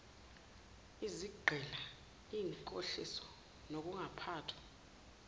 izigqila inkohliso ukungaphathwa